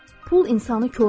Pul insanı korlayır.